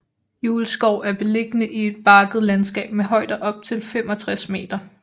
Julskov er beliggende i et bakket landskab med højder op til 65 m